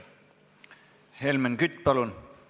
Helmen Kütt, palun!